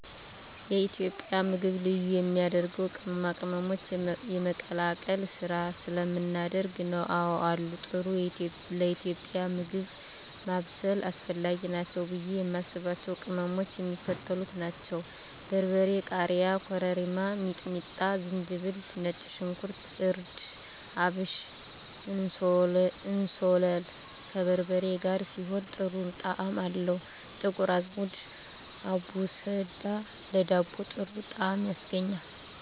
የኢትዮጵያ ምግብ ልዩ የሚያደርገው ቅመማ ቅመሞችን የመቀላቀል ስራ ስለምናደርግ ነው። *አወ አሉ፦ ጥሩ ለኢትዮጵያዊ ምግብ ማብሰል አስፈላጊ ናቸው ብዬ የማስባቸው ቅመሞች የሚከተሉት ናቸው: * በርበሬ *ቃሪያ * ኮረሪማ * ሚጥሚጣ * ዝንጅብል * ነጭ ሽንኩርት * እርድ * አብሽ *እንስላል፦ ከበርበሬ ጋር ሲሆን ጥሩ ጣዕም አለው *ጥቁር አዝሙድ(አቦስዳ)ለዳቦ ጥሩ ጣዕም ያስገኛል።